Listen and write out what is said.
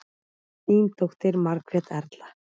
Þín dóttir, Margrét Erla.